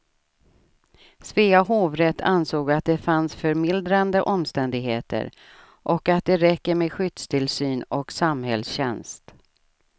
Svea hovrätt ansåg att det fanns förmildrande omständigheter och att det räcker med skyddstillsyn och samhällstjänst.